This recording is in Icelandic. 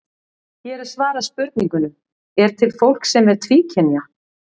Hér er svarað spurningunum: Er til fólk sem er tvíkynja?